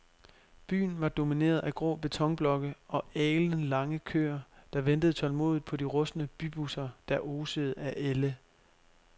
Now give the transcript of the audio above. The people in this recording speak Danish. Byen var domineret af grå betonblokke og alenlange køer, der ventede tålmodigt på de rustne bybusser, der osede af ælde.